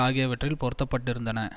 ஆகியவற்றில் பொருத்தப்பட்டிருந்தன